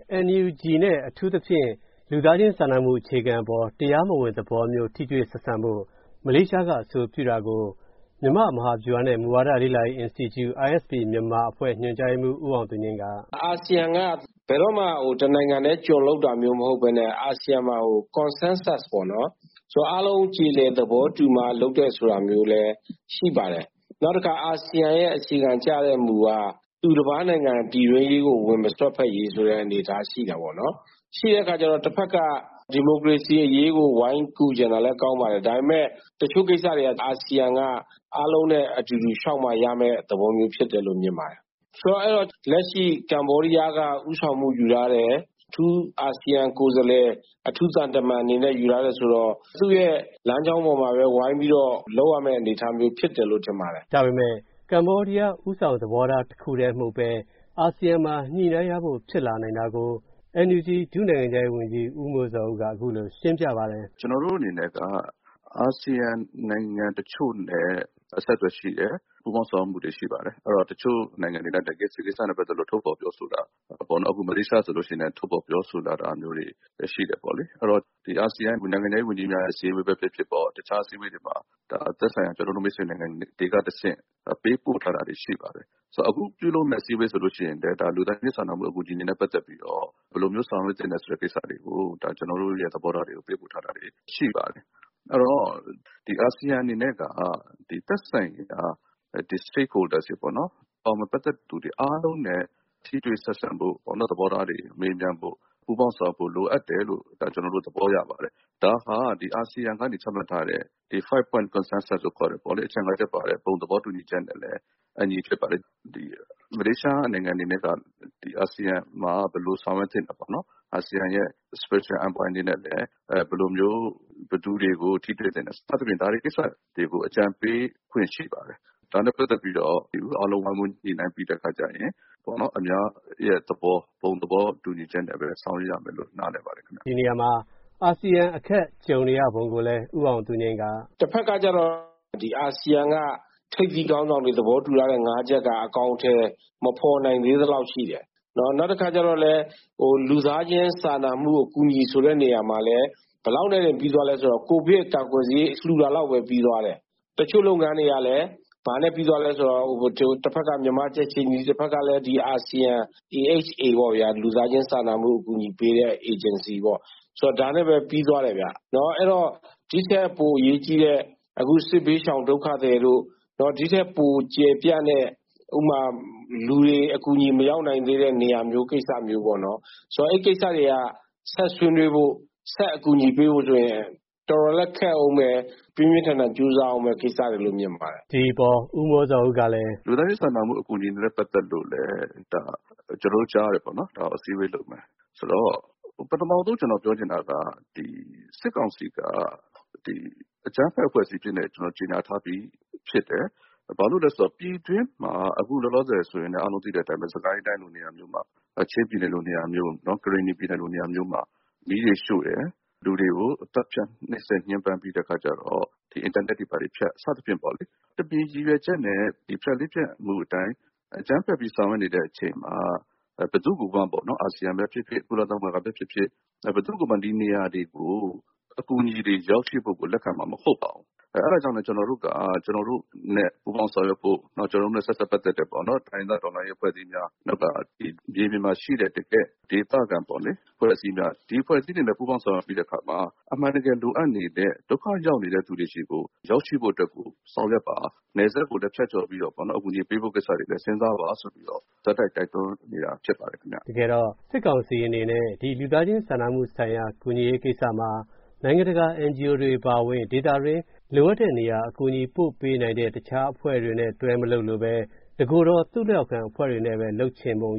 ။ NUG နဲ့ အထူးသဖြင့် လူသားချင်း စာနမှုဆိုင်ရာ အခြေခံ တရားမဝင် သဘောမျိုး ထိတွေ့ဆက်ဆံဖို့ မလေးရှား က အဆိုပြုတာကို " မြန်မာ မဟာဗျူဟာ နဲ့ မူဝါဒ လေ့လာရေး အင်စတီကျူ့ ISP မြန်မာအဖွဲ့ ညွှန်ကြားရေးမှူး ဦးအောင်သူငြိမ်း က ဦးအောင်သူငြိမ်း ။. ။ အာဆီယံက ဘယ်တော့မှ တနိုင်ငံထဲ ကြွံလုပ်တာမျိုးမဟုတ်ပဲနဲ့ အာဆီယံမှာ Consensus အားလုံးကြေလည် သဘောတူမှ လုပ်တယ်ဆိုတာမျိုးလည်း ရှိပါတယ်။ နောက်တခါ အာဆီယံရဲ့ အခြေခံကြတဲ့မူက သူတပါးနိုင်ငံ ဝင်မစွက်ဖက်ရေး အနေအထားရှိတာပေါ့နော်။ ရှိတဲ့အခါကြတော့ တဖက်က ဒီမိုကရေစီ အရေးကို ဝိုင်းကူချင်တာလည်း ကောင်းပါတယ်။ ဒါပေမယ့် တချို့ကိစ္စတွေက အာဆီယံ က အားလုံးနဲ့အတူတူ ရှောက်မှရမယ် သဘောမျိုးလို့ မြင်ပါတယ်။ လက်ရှိ ကမ္ဘောဒီးယားက ဦးဆောင်မှုယူထားတယ်။ အထူးသံတမန်အနေနဲ့ ယူထားတယ်ဆိုတော့ သူရဲ့ လမ်းကြောင်းပေါ်ပဲ လုပ်ရမယ်ထင်ပါတယ်။ ကိုဝင်းမင်း ။. ။ ဒါပေမယ့် ကမ္ဘောဒီးယားဦးဆောင် သဘောထား တခုတည်းမဟုတ်ပဲ အာဆီယံမှာ ညှိနှိုင်းရဖို့ ဖြစ်လာနိုင်တာကို NUG ဒုနိုင်ငံခြားရေးဝန်ကြီး ဦးမိုးဇော်ဦး က အခုလိုရှင်းပြပါတယ်။ ဦးမိုဇော်ဦး ။. ။ ကျနော်တို့အနေနဲ့က အာဆီယံနိုင်ငံတချို့နဲ့ အဆက်သွယ်ရှိတယ်။ ပူးပေါင်းဆောင်ရွက်မှုရှိတယ်။ အဲဒီတော့ တချို့နိုင်ငံတွေဆိုလိုရှိရင် အခုလို ထုတ်ဖော်ပြောဆိုတာ အခု မလေးရှားဆိုလို့ရှိရင် ထုတ်ဖော်ပြောဆိုတာတွေရှိတယ်ပေါ့လေ။ အာဆီယံနိုင်ငံခြားရေးဝန်ကြီးများ အစည်းအဝေးဖြစ်ဖြစ်ပေါ့။ တခြား သက်ဆိုင်ရာ မိတ်ဆွေနိုင်ငံတွေက တဆင့်ပေးပို့ထားတာရှိပါတယ်။ အခု ပြုလုပ်မယ့်အစည်းအဝေးမှာလည်း လူသားချင်း စာနာမှုဆိုင်ရာနဲ့ပတ်သက်ပြီး ကျနော်တို့ သဘောထားတွေကို ပေးပို့ထားတာရှိပါတယ်။ အဲဒီတော့ အာဆီယံအနေနဲ့က သက်ဆိုင်ရာ State Holder တွေပေါ့နော် အားလုံးနဲ့ထိတွေ့ဆက်ဆံဖို့ လိုအပ်တယ်လို့ ကျနော်တို့ သဘောရပါတယ်။ ဒါဟာ အာဆီယံကနေ ချမှတ်ထားတဲ့ 5 Point Consensus ဘုံသဘောတူညီချက်နဲ့လည်း အညီဖြစ်ပါတယ်။ မလေးရှားနိုင်ငံအနေနဲ့က အာဆီယံမှာ ဘယ်လိုဆောင်ရွက်သင့်တယ်ပေါ့နော်။ အာဆီယံရဲ့ Special Envoy အနေနဲ့ပေါ့နော် ဘယ်လို ပုဂ္ဂိုလ်တွေကို ထိတွေ့ခွင့်ရှိပါတယ်။ ဒါနဲ့ပတ်သက်ပြီးတော့ အားလုံးဝိုင်းဝန်း ညှိနှိုင်းပြီးရင် အများရဲ့ ဘုံသဘောတူညီချက်နဲ့ပဲ ဆောင်ရွက်ရမယ်လို့ နားလည်ပါတယ်။ ကိုဝင်းမင်း ။. ။ အာဆီယံ အခက်ကြုံနေရပုံကိုလည်း ဦးအောင်သူငြိမ်း က ကိုအောင်သူငြိမ်း ။. ။ တဖက်ကကြတော့ ဒီ အာဆီယံက ထိပ်သီးခေါင်းဆောင်တွေ သဘောတူထားတဲ့ ၅ ချက်က အကောင်အထည်မဖော်နိုင်သေးသလောက်ရှိတယ်။ နောက်တခါကြပြန်တော့လည်း လူသားချင်း စာနာမှု အကူအညီဆိုတာမှာလည်း ကိုဗစ်ကာကွယ်ဆေး လှူတာလောက်နဲ့ပဲပြီးသွားတယ်။ တချို့လုပ်ငန်းတွေကြတော့လည်း တဖက်က မြန်မာကြက်ချေနီ၊ တဖက်ကလည်း အာဆီယံ AHC လူသားချင်းစာနာမှု အကူအညီပေးတဲ့ အေဂျင်စီပေါ့။ ဒါတွေနဲ့ဲ့ပဲ ပြီးသွားတယ်ပေါ့။ ဒီထက်ပို အရေးကြီးတဲ့ စစ်ဘေးရှောင် ဒုက္ခသည်တို့၊ ဒီထက်ပို ကျယ်ပြန့်တဲ့ လူတွေ အကူအညီမရောက်နိုင်တဲ့ကိစ္စမျိုးပေါ့နော်။ အဲဒီကိစ္စတွေက ဆက်ဆွေးနွေးဖို့၊ ဆက်အကူအညီပေးဖို့ဆိုရင် တော်တော်လည်း ခက်အုန်းမယ်။ ပြင်းပြင်းထန်ထန် လုပ်ရမယ့် ကိစ္စတွေလို့မြင်ပါတယ်။ ဦးမိုးဇော်ဦး ။. ။ ဒီအပေါ် ဦးမိုးဇော်ဦး ကလည်း ဦးမိုးဇော်ဦး ။. ။ ကျနော်တို့ကြားတယ် အစည်းအဝေးလုပ်မယ့်ကိစ္စ။ စစ်ကောင်စီက အကြမ်းဖက်အဖွဲ့အစည်းအဖြစ် ကြေညာထားပြီးဖြစ်တယ်။ ဘာလို့လည်းဆိုတော့ ပြည်တွင်းမှာ အခုလောလောဆယ် ချင်းပြည်နယ်၊ ကရင်နီပြည်နယ်လိုနေရာတွေမျိုးမှာ မီးတွေရှို့တယ်၊ လူတွေကို သတ်ဖြတ်နိုပ်စက်နေတယ်၊ အင်တာနက်တွေဘာတွေဖြစ် စသဖြင့်ပေါ့လေ။ တမင်ရည်ရွယ်ချက်နဲ့ ဖြတ်လေးဖြတ်မှုအတိုင်း အကြမ်းဖက်ပြီး ဆောင်ရွက်နေချိန်မှာ ဘယ်သူကိုမှ အာဆီယံပဲဖြစ်ဖြစ် ကုလသမဂ္ဂပဲဖြစ်ဖြစ် ဘယ်သူကိုမှ ဒီနေရာတွေကို အကူအညီတွေ ရောက်ရှိဖို့ကို လက်ခံမှာမဟုတ်ပါဘူး။ အဲဒါကြောင့်ကို ကျနော်တို့နဲ့ ပူးပေါင်းဆောင်ရွက်ဖို့ ၊ ကျနော်တို့နဲ့ ဆက်စပ်ပတ်သက်တဲ့ တိုင်းရင်းသား တော်လှန်ရေးအဖွဲ့တွေ ၊ မြေပြင်မှာရှိကြတဲ့ တကယ်ဒေသခံအဖွဲ့အစည်းတွေ ဒီလိုအဖွဲ့အစည်းတွေနဲ့ ပူးပေါင်းဆောင်ရွက်ပြီးတဲ့အခါမှာ အမှန်တကယ်လိုအပ်နေတဲ့ ဒုက္ခရောက်နေသူတွေဆီကို ရောက်ရှိဖို့အတွက် ဆောင်ရွက်ပါ။ နယ်စပ်ကိုလည်း ဖြတ်ကျော်ပြီးတော့ အကူအညီပေးဖို့ကိစ္စတွေကိုလည်း စဉ်းစားပါဆိုပြီး ဆက်တိုက် တိုက်တွန်းနေတာဖြစ်ပါတယ်။ ကိုဝင်းမင်း ။. ။ တကယ်တော့ စစ်ကောင်စီအနေနဲ့ ဒီလူသားချင်းစာနာမှုဆိုင်ရာ ကူညီရေးကိစ္စမှာ နိုင်ငံတကာ NGO တွေအပါအဝင် ဒေသတွင်းဆိုင်ရာ လိုအပ်တဲ့နေရာပို့ပေးနိုင်တဲ့အဖွဲ့တွေနဲ့ ပေါင်းမလုပ်လိုပဲ တကိုယ်တော် သူလက်အောက်ခံအဖွဲ့တွေနဲ့ပဲ လုပ်ချင်ပုံ